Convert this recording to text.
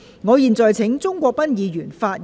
我現在請鍾國斌議員發言及動議議案。